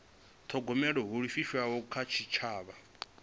thogomela ho livhiswaho kha tshitshavha